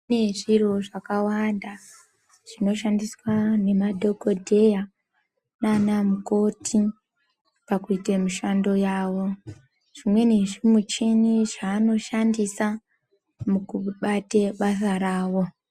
Kune zviro zvakawanda zvinoshandiswa nemadhokodheya nana mukoti pakuita mushando yavo zvimweni zvezvi michini zvavanoshandisa mukubate basa ravo.